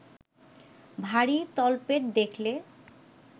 ভারী তলপেট দেখলে